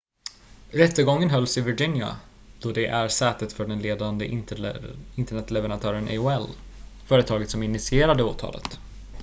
rättegången hölls i virginia då det är sätet för den ledande internetleverantören aol företaget som initierade åtalet